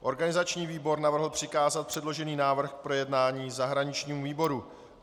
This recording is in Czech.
Organizační výbor navrhl přikázat předložený návrh k projednání zahraničnímu výboru.